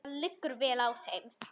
Það liggur vel á þeim.